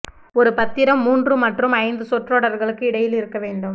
ஒரு பத்திரம் மூன்று மற்றும் ஐந்து சொற்றொடர்களுக்கு இடையில் இருக்க வேண்டும்